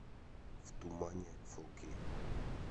в тумане фо кей